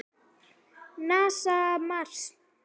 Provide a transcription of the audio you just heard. NASA- Mars.